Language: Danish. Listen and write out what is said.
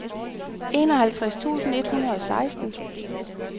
enoghalvtreds tusind et hundrede og seksten